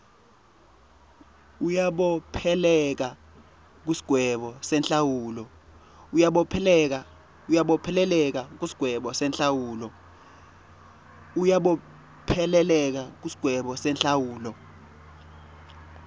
uyabopheleleka kusigwebo senhlawulo